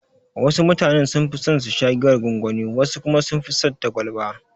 Wasu mutane sunfi son susha giyar gwangwani, wasu kuma sunfi son ta kwalba.